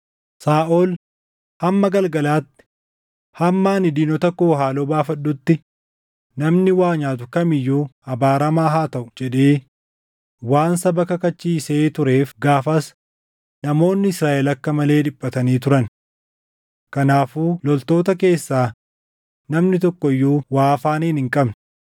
Saaʼol, “Hamma galgalaatti, hamma ani diinota koo haaloo baafadhutti namni waa nyaatu kam iyyuu abaaramaa haa taʼu!” jedhee waan saba kakachiisee tureef gaafas namoonni Israaʼel akka malee dhiphatanii turan. Kanaafuu loltoota keessaa namni tokko iyyuu waa afaaniin hin qabne.